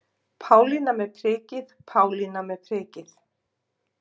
Pálína með prikið, Pálína með prikið.